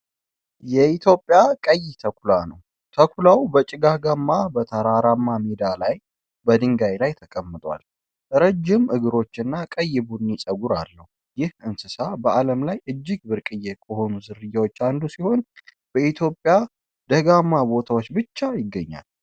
የኢትዮጵያ ቀይ ተኩላ ነው። ተኩላው በጭጋጋማ፣ በተራራማ ሜዳ ላይ በድንጋይ ላይ ተቀምጧል። ረጅም እግሮችና ቀይ ቡኒ ፀጉር አለው። ይህ እንስሳ በአለም ላይ እጅግ ብርቅዬ ከሆኑ ዝርያዎች አንዱ ሲሆን፣ በኢትዮጵያ ደጋማ ቦታዎች ብቻ ይገኛል።